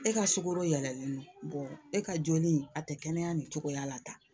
E ka sukaro yɛlɛlen don e ka joli a tɛ kɛnɛya nin cogoya la tan